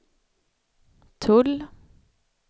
tull